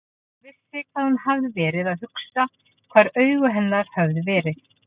En hún vissi hvað hún hafði verið að hugsa, hvar augu hennar höfðu verið.